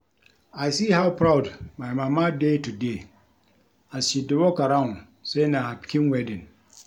I see how proud my mama dey today as she dey walk around say na her pikin wedding